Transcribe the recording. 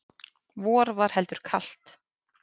vor var heldur kalt